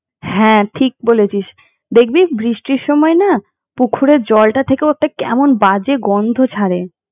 হ্যাঁ ঠিক বলেছিস দেখবি বৃষ্টির সময় না পুকুরের জলটা থেকেও কেমন একটা বাজে গন্ধ ছাড়ে।